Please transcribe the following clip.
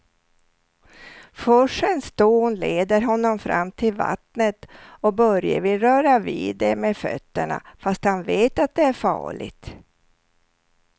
Forsens dån leder honom fram till vattnet och Börje vill röra vid det med fötterna, fast han vet att det är farligt.